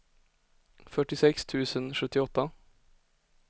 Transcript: fyrtiosex tusen sjuttioåtta